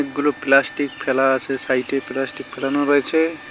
অনেকগুলো প্লাস্টিক ফেলা আছে সাইডে প্লাস্টিক ফেলানো রয়েছে।